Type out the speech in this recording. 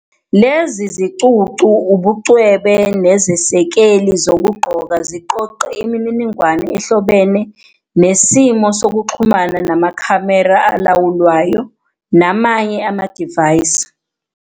Lezi zicucu, ubucwebe nezesekeli zokugqoka ziqoqe imininingwane ehlobene nesimo sokuxhumana namakhamera alawulwayo namanye amadivaysi.